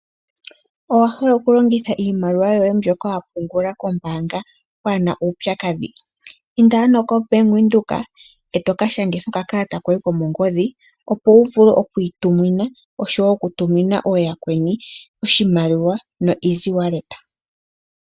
Owahala oku longitha iimaliwa yoye mbyoka wapungula kombaanga pwaana uupyakadhi inda ano ko bank windhoek etoka shangitha oka kalata koye komongodhi opo wuvule okwii tumina oshowo oku tumina yakweni oshimaliwa no easy wallet.